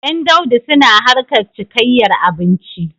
Ƴan Daudu suna harkar cikayyar abinci.